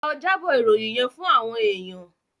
Lọ jábọ̀ ìròyìn yẹ́n fún àwọn èèyàn.